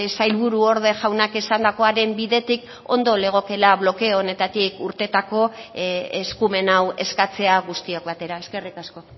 sailburuorde jaunak esandakoaren bidetik ondo legokela blokeo honetatik urtetako eskumen hau eskatzea guztiok batera eskerrik asko